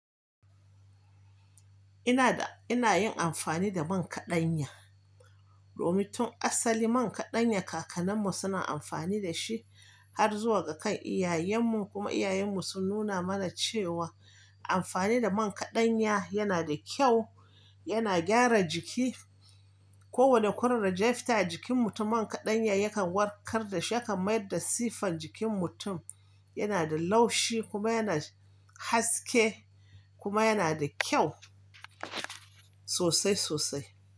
Ina da, ina yin amfani da man kaɗanya. Domin tun asali man kaɗanya kakanninmu suna amfani da shi har zuwa ga kan iyayenmu kuma iyayenmu sun nuna mana cewa amfani da man kaɗanya yana da kyau, yana gyara jiki. Ko wane kurarre, jafta a jikin mutum man kaɗanya yakan warkar da shi, yakan mayar da sifan jikin mutum. Yana da laushi kuma yana haske kuma yana da kyau sosai sosai.